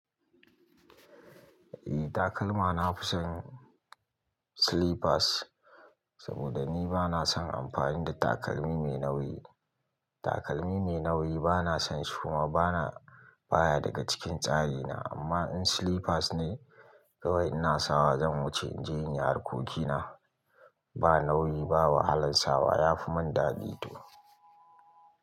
Eh takalma na fison slippers saboda ni bana son amfani da takalmi mai nauyi. Takalmi mai nauyi bana son shi kuma bana baya daga cikin tsari na amma in slippers ne kawai in na sawa zan wuce in je in yi harkokina. Ba nauyi, ba wahalan sawa. Eh takalma na fison slippers saboda ni bana son amfani da takalmi mai nauyi.